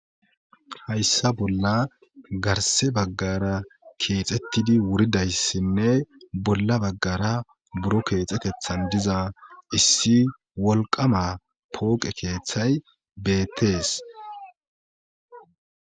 Hayssa bolla garse baggara keexettidi wuridayssinne bolla baggara buro keexetethan diza issi wolqama pooqe keeththay beettees.